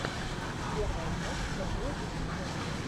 первая часть сергея косенко